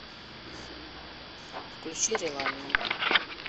включи реланиум